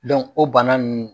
o bana